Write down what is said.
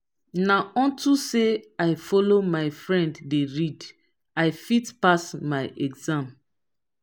na unto say i follow my friend dey read i fit pass my exam